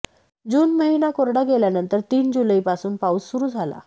जून महिना कोरडा गेल्यानंतर तीन जुलैपासून पाऊस सुरू झाला